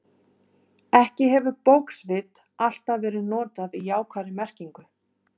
Ekki hefur bókvit alltaf verið notað í jákvæðri merkingu.